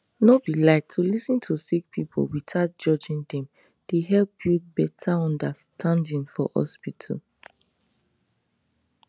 no be lie to lis ten to sick people without judging dem dey help build better understanding for hospital